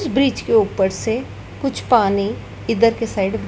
bridge के ऊपर से कुछ अपनी इधर के साइड --